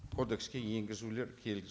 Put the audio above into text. кодекске енгізулер